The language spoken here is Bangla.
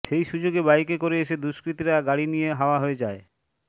সেই সুযোগে বাইকে করে এসে দুষ্কৃতীরা গাড়ি নিয়ে হাওয়া হয়ে যায়